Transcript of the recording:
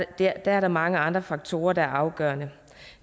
der er der mange andre faktorer der er afgørende